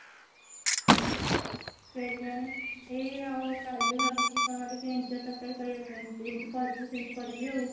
କେଜାଣି ସେ ଆଉ କାଲି ଭାବିଛି କେଏନ ଟିକେ ଇଞ୍ଚଡ ତରକାରୀ କରିବା ପାଇଁ ତୁ ଯେମିତି କହିଥିଲୁ ସେମିତି କରିବି ଆଉ